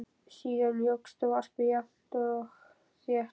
Síðan jókst varpið jafnt og þétt og